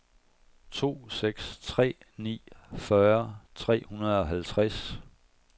to seks tre ni fyrre tre hundrede og halvtreds